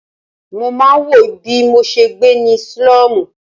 Mo máa ń wòó bí mo ṣe gbé ní sílọ́mù?